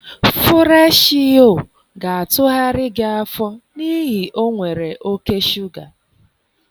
Fụreshị Yoo ga-atụgharị gị afọ n'ihi o nwere oke shuga.